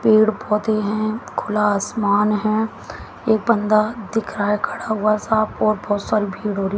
पेड़ पौधे हैं खुला आसमान हैं एक बंदा दिख रहा है खड़ा हुआ साफ और बहोत सारी भिड़ हो रही--